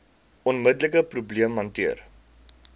onmiddelike probleem hanteer